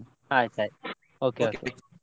ಆಯ್ತಾಯ್ತು okay, okay, bye .